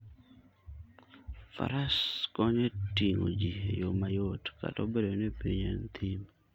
Fares konyo e ting'o ji e yo mayot, kata obedo ni piny en thim.